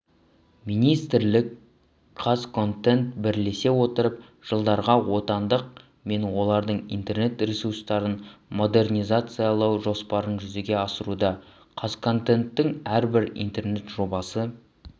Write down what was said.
министрлік қазконтент бірлесе отырып жылдарға отандық мен олардың интернет-ресурстарын модернизациялау жоспарын жүзеге асыруда қазконтенттің әрбір интернет-жобасы